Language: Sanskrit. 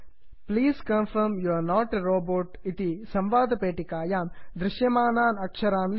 please confirm you're not a robot please confirm you are not a robot इति संवादपेटिकायां दृश्यमानान् अक्षरान् लिखन्तु